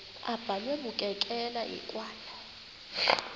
abhalwe bukekela hekwane